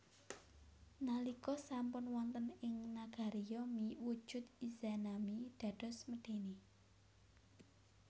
Nalika sampun wonten ing nagari Yomi wujud Izanami dados medèni